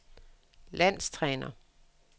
landstræner